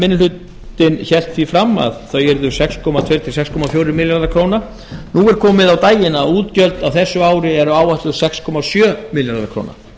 hlutinn hélt því fram að þau yrðu sex komma tvö til sex komma fjórir milljarðar króna nú er komið á daginn að útgjöld á þessu ári eru áætluð sex komma sjö milljarðar króna